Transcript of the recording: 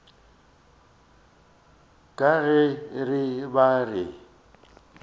ka ge re be re